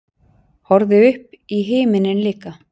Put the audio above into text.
Horfði upp í himininn líka.